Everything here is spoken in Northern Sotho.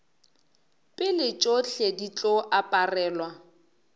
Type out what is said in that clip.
pele tšohle di tlo aparelwa